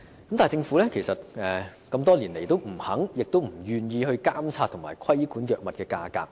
可是，政府多年來也不願意監察及規管藥物價格。